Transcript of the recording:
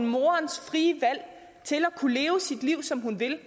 moderens frie valg til at kunne leve sit liv som hun vil